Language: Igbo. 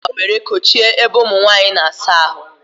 E ji akwa were kochie ebe ụmụnwanyị na-asa ahụ